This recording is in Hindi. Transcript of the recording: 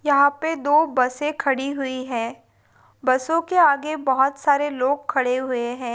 यहा पे दो बसे खड़ी हु है। बसोंके आगे बहुत सारे लोग खड़े हुए है।